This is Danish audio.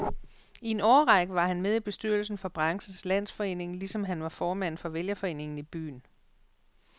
I en årrække var han med i bestyrelsen for branchens landsforening, ligesom han var formand for vælgerforeningen i byen.